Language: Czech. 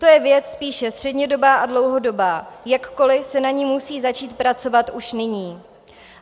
To je věc spíše střednědobá a dlouhodobá, jakkoliv se na ní musí začít pracovat už nyní.